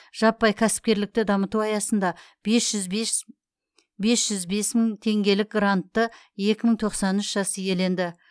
жаппай кәсіпкерлікті дамыту аясында бес жүз бес бес жүз бес мың теңгелік грантты екі мың тоқсан үш жас иеленді